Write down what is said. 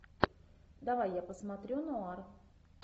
давай я посмотрю нуар